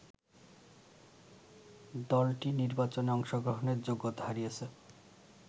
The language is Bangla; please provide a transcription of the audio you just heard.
দলটি নির্বাচনে অংশগ্রহণের যোগ্যতা হারিয়েছে